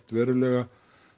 verulega